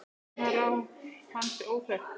Dánarár hans er óþekkt.